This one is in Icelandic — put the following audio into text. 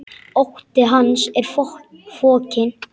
Ótti hans er fokinn.